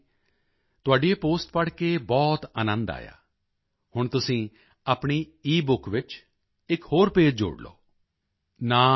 ਗੁਰੂਪ੍ਰਸਾਦ ਜੀ ਤੁਹਾਡੀ ਇਹ ਪੋਸਟ ਪੜ੍ਹ ਕੇ ਬਹੁਤ ਅਨੰਦ ਆਇਆ ਹੁਣ ਤੁਸੀਂ ਆਪਣੀ ਈਬੁੱਕ ਵਿੱਚ ਇਕ ਹੋਰ ਪੇਜ਼ ਜੋੜ ਲਓ